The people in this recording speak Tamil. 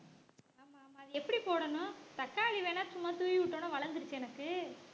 ஆமா ஆமா அத எப்படி போடணும் தக்காளி வேணா சும்மா தூவி விட்ட உடனே வளர்ந்திருச்சு எனக்கு